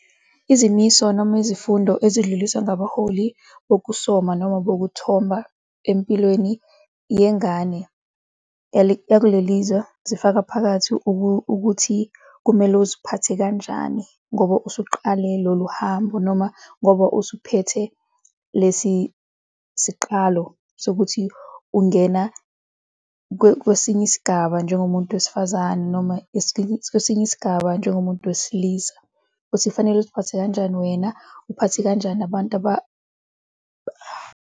Izimiso noma izifundo ezidluliswa ngabaholi bokusoka noma bokuthomba empilweni yengane yakuleli zwe zifaka phakathi ukuthi kumele uziphathe kanjani ngoba usuqale lolu hambo noma ngoba usuphethe lesi siqalo sokuthi ungena kwesinye isigaba njengomuntu wesifazane noma kwesinye isigaba njengomuntu wesilisa ukuthi kufanele uziphathe kanjani wena uphathe kanjani abantu .